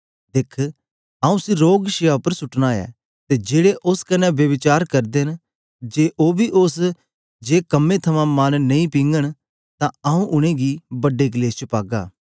दिख आऊँ उसी रोगशैय्या उपर सुटना ऐ ते जेड़े उस्स कन्ने ब्यभिचार करदे न जे ओ बी उस्स जे कम्में थमां मन नेई पीघंन ते आऊँ उनेंगी बड्डे कलेश च पागा